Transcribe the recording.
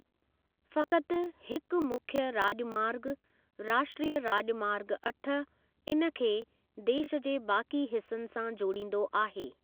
फ़कत हिक मुख्य राॼमार्ग, राष्ट्रीय राॼमार्ग अठ, इन खे देश जे बाकी हिसनि सां जोड़ींदो आहे।